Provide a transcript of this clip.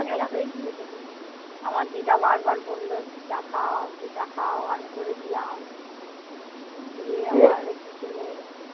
চা দেয়া হয়েছিল সেদিন। আমার দিদা বারবার বলল একটু চা খাও একটু চা খাও। আমি করেছিলাম। দিয়ে একটু খেলে।